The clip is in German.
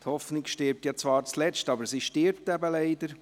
Die Hoffnung stirbt zwar zuletzt, aber sie stirbt eben leider.